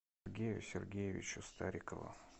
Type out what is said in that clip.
сергею сергеевичу старикову